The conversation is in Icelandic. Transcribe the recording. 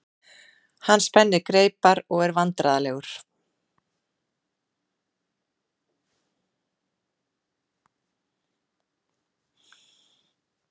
Hann spennir greipar og er vandræðalegur.